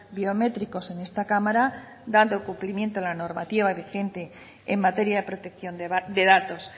biométricos en esta cámara dando cumplimiento a la normativa vigente en materia de protección de datos